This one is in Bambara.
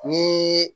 Ni